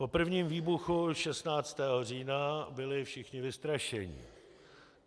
Po prvním výbuchu 16. října byli všichni vystrašení.